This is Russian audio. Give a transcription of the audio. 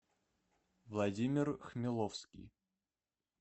владимир хмеловский